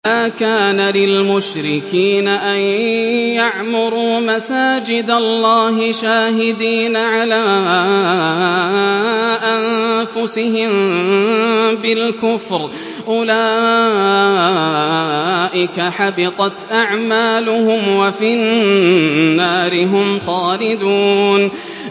مَا كَانَ لِلْمُشْرِكِينَ أَن يَعْمُرُوا مَسَاجِدَ اللَّهِ شَاهِدِينَ عَلَىٰ أَنفُسِهِم بِالْكُفْرِ ۚ أُولَٰئِكَ حَبِطَتْ أَعْمَالُهُمْ وَفِي النَّارِ هُمْ خَالِدُونَ